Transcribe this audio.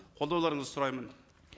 қолдауларыңызды сұраймын